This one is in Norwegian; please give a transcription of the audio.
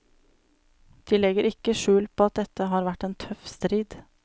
De legger ikke skjul på at dette har vært en tøff strid.